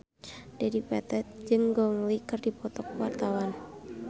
Dedi Petet jeung Gong Li keur dipoto ku wartawan